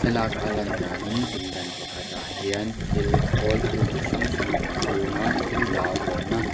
thlalâka a lan dânin pindan pakhatah hian thil khâwl thil chi hrang hrang a inhûng a thil dah vawhna--